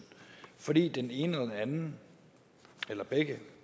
fordi den ene eller den anden eller begge